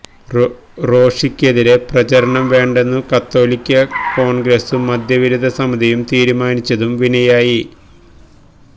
റോഷിക്കെതിരെ പ്രചാരണം വേണ്ടെന്നു കത്തോലിക്ക കോൺഗ്രസും മദ്യവിരുദ്ധ സമിതിയും തീരുമാനിച്ചതും വിനയായി